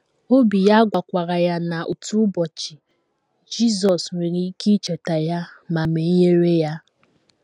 Obi ya gwakwara ya na, otu ụbọchị, Jizọs nwere ike icheta ya ma menyere ya.